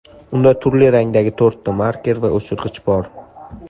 Unda turli rangdagi to‘rtta marker va o‘chirg‘ich bor.